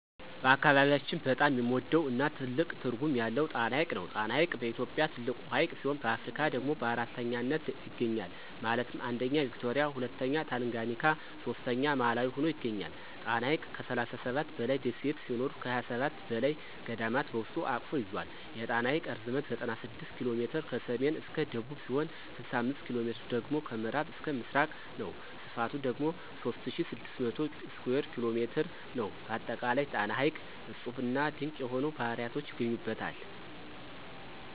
በአካባቢያችን በጣም የምንወደው እና ትልቅ ትርጉም ያለው ጣና ሐይቅ ነው። ጣና ሐይቅ በኢትዮጵያ ትልቁ ሀይቅ ሲሆን በአፍሪካ ደግሞ በአራተኛነት ይገኛል ማለትም 1ኛ ቪክቶሪያ 2ኛ ታንጋኒካ 3ኛ ማላዊ ሁኖ ይገኛል። ጣና ሐይቅ ከ37 በላይ ደሴት ሲኖሩት ከ27 በላይ ገዳማት በውስጡ አቅፎ ይዞል። የጣና ሐይቅ ርዝመት 96 ኪ.ሜ ከሰሜን እስከ ደቡብ ሲሆን 65ኪ.ሜ ደግሞ ከምዕራብ እስከ ምስራቅ ነው። ስፍቱ ደግሞ 3600 ስኩየር ኪ.ሜ ነው። በአጠቃላይ ጣና ሐይቅ እፁብና ድንቅ የሆኑ ባህርያቶች ይገኙበታል።